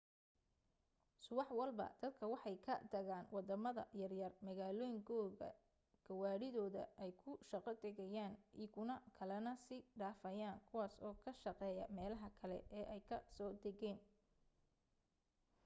subax walba dadka waxay ka tagaan wadamada yar yar magaalooyin kooda gawaadhidooda ay ku shaqo tagayaan ikuwa kalena sii dhafayaan kuwaas oo ka shaqeeya meelaha kale ee ay ka so tageen